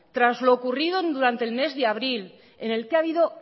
tras lo ocurrido durante el mes de abril en el que ha habido